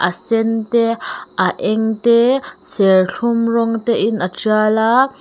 sen te a eng te serthlum rawng tein a tial a.